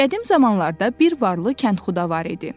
Qədim zamanlarda bir varlı kəndxuda var idi.